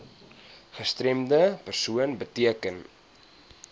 gestremde persoon beteken